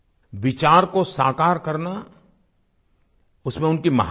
विचार को साकार करना उसमें उनकी महारत थी